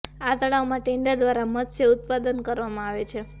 આ તળાવમાં ટેન્ડર દ્વારા મત્સ્ય ઉત્પાદન કરવામાં આવે છે